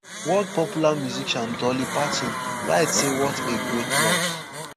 world popular musician dolly parton write say wat a great loss